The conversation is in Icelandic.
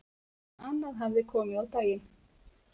En annað hefði komið á daginn